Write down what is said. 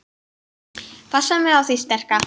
Passa mig á því sterka.